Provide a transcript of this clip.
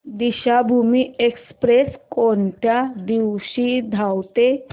Deekshabhoomi express कोणत्या दिवशी धावते